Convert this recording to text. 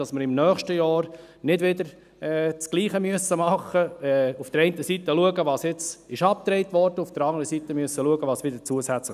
Wir wollen nächstes Jahr nicht wieder dasselbe tun und nicht wieder schauen müssen, was auf der einen Seite abgebaut und auf der anderen Seite zusätzlich geschaffen wurde.